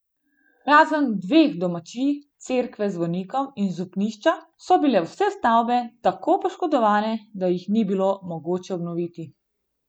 Razen dveh domačij, cerkve z zvonikom in župnišča so bile vse stavbe tako poškodovane, da jih ni bilo mogoče obnoviti.